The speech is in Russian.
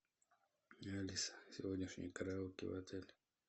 алиса сегодняшний караоке в отеле